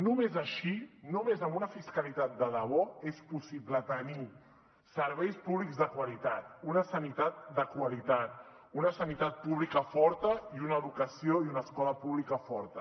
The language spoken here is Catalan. només així només amb una fiscalitat de debò és possible tenir serveis públics de qualitat una sanitat de qualitat una sanitat pública forta i una educació i una escola pública fortes